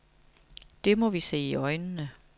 Det må vi se i øjnene.